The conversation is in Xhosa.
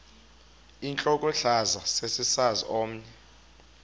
intlokohlaza sesisaz omny